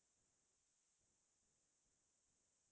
মানে জিৱ্নত প্ৰথম বাৰ এনেকে